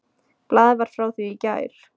Blaðið var frá því í gær.